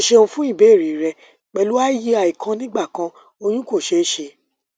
o ṣeun fun ibeere rẹ pẹlu iui kan nigbakan oyun ko ṣee ṣe